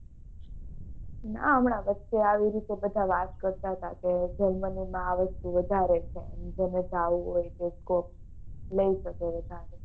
નાં હમણાં વચે આવી રીતે બધા વાત કરતા હતા કે જર્મની નાં વસ્તુ વધારે છે જેને જવું હોય તો કો લઇ જસુ.